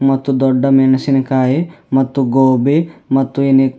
ಮತ್ತು ದೊಡ್ಡ ಮೆಣಸಿನಕಾಯಿ ಮತ್ತು ಗೋಬಿ ಮತ್ತು ಇನಿ --